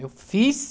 Eu fiz.